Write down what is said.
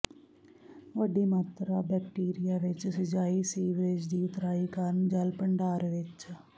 ਵੱਡੀ ਮਾਤਰਾ ਬੈਕਟੀਰੀਆ ਵਿਚ ਸਿਜਾਈ ਸੀਵਰੇਜ ਦੀ ਉਤਰਾਈ ਕਾਰਨ ਜਲ ਭੰਡਾਰ ਵਿੱਚ